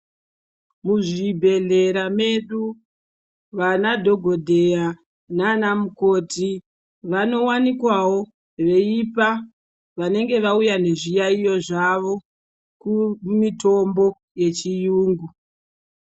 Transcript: Muzvibhehlera medu vanadhogodheya nana mukoti vanowanikwawo veipa vanenge vauya nezviyayiyo zvavo kumitombo yechiyungu.